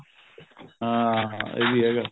ਹਾਂ ਇਹ ਵੀ ਹੈਗਾ